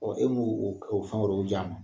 e m'o o fɛn wɛrɛw di a ma